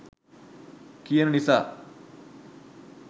කියන නිසා.